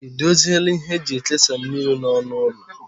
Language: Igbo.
Ị dozila ihe eji ekesa mmiri n'ọnụ ụlọ?